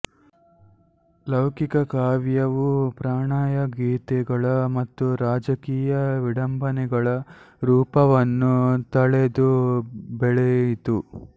ಲೌಕಿಕ ಕಾವ್ಯವೂ ಪ್ರಣಯಗೀತೆಗಳ ಮತ್ತು ರಾಜಕೀಯ ವಿಡಂಬನೆಗಳ ರೂಪವನ್ನು ತಳೆದು ಬೆಳೆಯಿತು